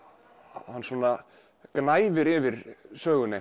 hann svona gnæfir yfir sögunni